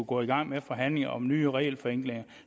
gå i gang med forhandlinger om nye regelforenklinger